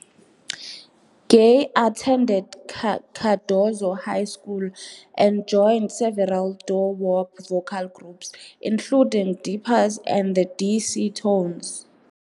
Gaye attended Cardozo High School and joined several doo-wop vocal groups, including the Dippers and the D.C. Tones.